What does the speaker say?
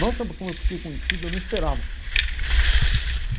Nossa, como eu fiquei conhecido, eu não esperava.